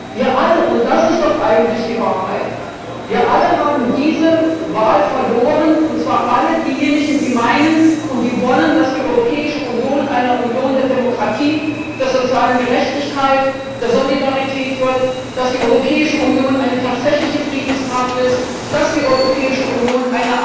Wir alle und das ist doch eigentlich die Wahrheit haben diese Wahl verloren, und zwar alle diejenigen, die meinen und die wollen, dass die Europäische Union eine Union der Demokratie, der sozialen Gerechtigkeit, der Solidarität wird, dass die Europäische Union eine tatsächliche Friedenskraft ist, dass die Europäische Union